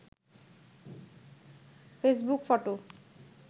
Facebook photo